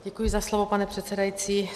Děkuji za slovo, pane předsedající.